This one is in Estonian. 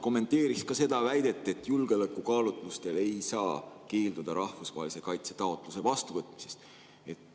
Kommenteeriks ka seda väidet, et julgeolekukaalutlustel ei saa keelduda rahvusvahelise kaitse taotluse vastuvõtmisest.